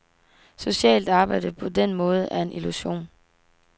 Socialt arbejde på den måde er en illusion.